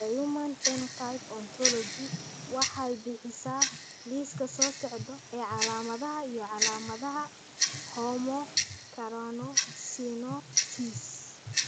The Human Phenotype Ontology waxay bixisaa liiska soo socda ee calaamadaha iyo calaamadaha Homocarnosinosis.